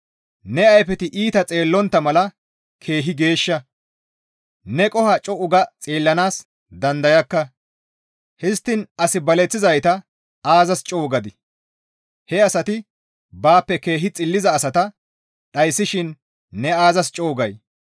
Ne ayfeti iita xeellontta mala keehi geeshsha; neni qoho co7u ga xeellanaas dandayakka; histtiin as baleththizayta aazas co7u gadii? He asati baappe keehi xilliza asata dhayssishin ne aazas co7u gay?